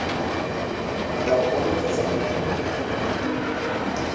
molao ono kgotsa molao ope